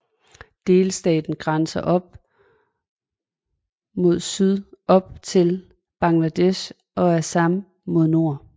Delstaten grænser mod syd op til Bangladesh og Assam mod nord